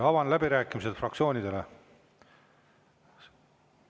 Avan läbirääkimised fraktsioonidele.